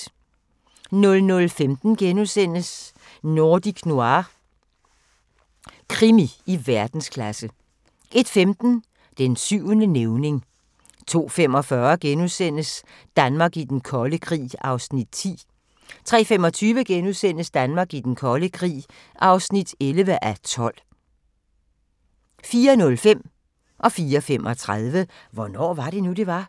00:15: Nordic Noir – krimi i verdensklasse * 01:15: Den syvende nævning 02:45: Danmark i den kolde krig (10:12)* 03:25: Danmark i den kolde krig (11:12)* 04:05: Hvornår var det nu, det var? 04:35: Hvornår var det nu, det var?